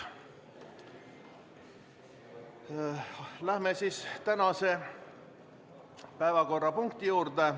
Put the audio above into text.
Läheme tänase päevakorrapunkti juurde.